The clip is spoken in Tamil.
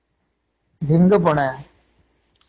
எங்க போன